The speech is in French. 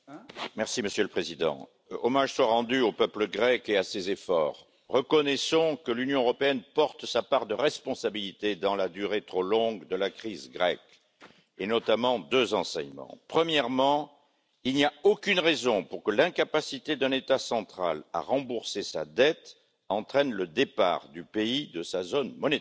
Monsieur le Président, Monsieur le Premier ministre, hommage soit rendu au peuple grec et à ses efforts. Reconnaissons que l'Union européenne porte sa part de responsabilité dans la durée trop longue de la crise grecque, et tirons notamment deux enseignements. Premièrement, il n'y a aucune raison pour que l'incapacité d'un État central à rembourser sa dette entraîne le départ du pays de sa zone monétaire.